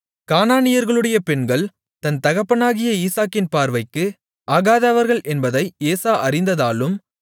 கானானியர்களுடைய பெண்கள் தன் தகப்பனாகிய ஈசாக்கின் பார்வைக்கு ஆகாதவர்கள் என்பதை ஏசா அறிந்ததாலும்